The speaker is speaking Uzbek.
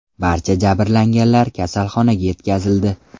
Barcha jabrlanganlar kasalxonaga yetkazildi.